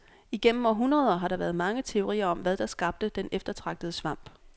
Igennem århundreder har der været mange teorier om, hvad der skabte den eftertragtede svamp.